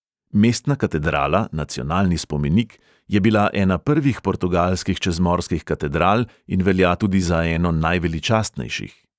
Mestna katedrala, nacionalni spomenik, je bila ena prvih portugalskih čezmorskih katedral in velja tudi za eno najveličastnejših.